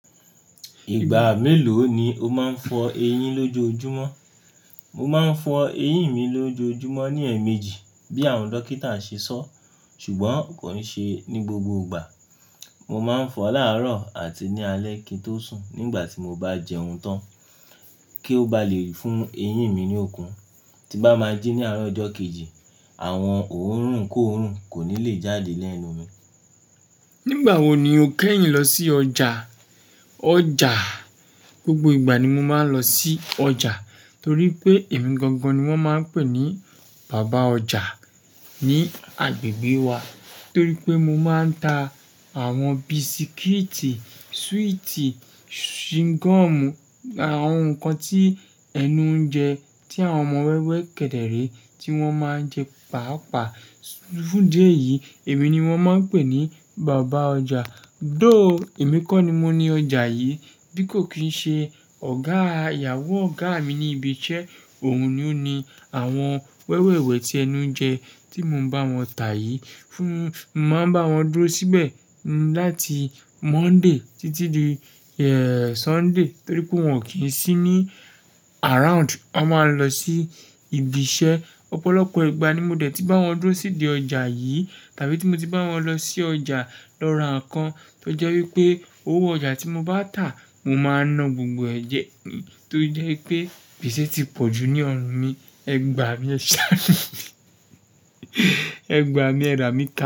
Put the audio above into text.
Ìgbà mélòó ni o máa ń fọ eyín lójojúmọ́? Mo máa ń fọ ẹyín mi lójoojúmọ́ ní ẹ̀ẹ̀mejì bí àwọn dókítà ṣe sọ. Ṣùgbọ́n kò ní ṣe ní gbogbo ìgbà. Mo máa ń fọ láàárọ̀ àti ní alẹ́ kí n tó sùn nígbà tí mo bá jẹun tán kí ó ba lè fún eyín mi ní okun. Tí bá máa jẹ ní àárọ̀ ọjọ́ kejì, àwọn òórùn kóòrùn kò ní lè jáde lẹ́nu mi. Nígbà wo ni o kẹ́yìn lọ sí ọjà? Ọjà, gbogbo ìgbà ni mo máa ń lọ sí ọjà torí pé èmi gangan ni wọ́n máa ń pè ní bàbá ọjà ní agbègbè wa. Torí pé mo máa ń ta àwọn bisikíìtì, súwìtì, shingọ́ọ̀mù, àwọn nǹkan tí ẹnu ń jẹ tí àwọn ọmọ wẹ́wẹ́ kẹ̀dẹ̀ré tí wọ́n máa ń jẹ pàápàá. Fún idí eyí, èmi ni wọ́n máa ń pè ní bàbá ọjà. Though èmi kọ́ ni mo ni ọjà yìí bí kò kín ṣe ọ̀gá ìyàwó ọ̀gá mi ni ibi iṣẹ́ òun ni ó ni àwọn wẹ́wẹ́ wẹ̀ tí ẹnu ń jẹ tí mo ń bá wọn tà yìí. Fún, mo máa ń bá wọn dúró síbẹ̀ láti Monday títí di, eh, Sunday torí pé wọ́n ò kí n sí ní around. Wọ́n máa ń lọ sí ibi iṣẹ́. Ọ̀pọ̀lọpọ̀ ìgbà ni mo dẹ̀ ti bá wọn dúró síbi ọjà yìí tàbí tí mo ti bá wọn lọ sí ọjà lọ́ra kan tó jẹ́ wí pé owó ọjà tí mo bá tà mo máa na gbogbo ẹ̀ jẹ. Torí ojẹ́ pé gbèsè ti pọ̀ ju ní ọrùn mi, ẹgbàá mi ẹ ṣàanù. Ẹgbàá mi ẹ rà mí ká.